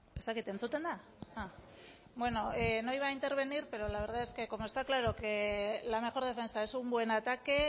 ez dakit entzuten da bueno no iba a intervenir pero la verdad es que como está claro que la mejor defensa un buen ataque